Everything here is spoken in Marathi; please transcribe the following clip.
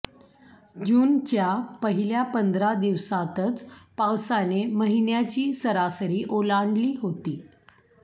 जूनच्या पहिल्या पंधरा दिवसांतच पावसाने महिन्याची सरासरी ओलांडली होती